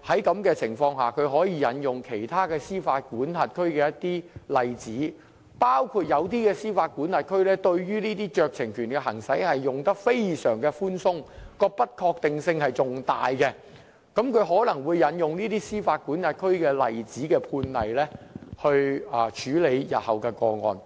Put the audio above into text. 在這種情況下，引用其他司法管轄區的一些例子，包括某些司法管轄區對於行使這些酌情權是非常寬鬆的，其不確定性更大，而法庭可能會引用司法管轄區的判例來處理日後的個案。